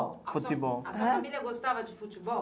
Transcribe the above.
A sua família gostava de futebol?